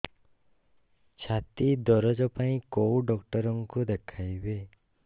ଛାତି ଦରଜ ପାଇଁ କୋଉ ଡକ୍ଟର କୁ ଦେଖେଇବି